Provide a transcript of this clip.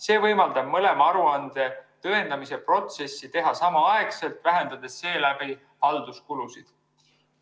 See võimaldab mõlema aruande tõendamise protsessi teha samaaegselt, vähendades seeläbi halduskulusid.